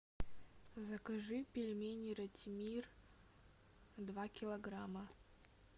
закажи пельмени ратимир два килограмма